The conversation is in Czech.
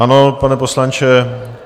Ano, pane poslanče.